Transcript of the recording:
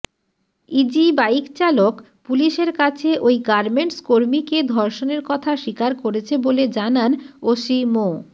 ইজিবাইকচালক পুলিশের কাছে ওই গার্মেন্টর্সকর্মীকে ধর্ষণের কথা স্বীকার করেছে বলে জানান ওসি মো